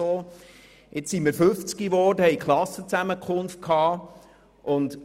Jetzt hatten wir wieder Klassenzusammenkunft und waren mittlerweile 50 Jahre alt.